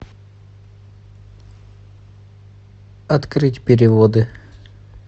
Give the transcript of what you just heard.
открыть переводы